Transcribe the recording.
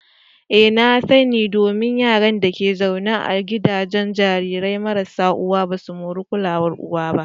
Ee na sa ni, Domin Yaran da ke zaune a gidajen jarirai marasa uwa basu moran kulawar uwa.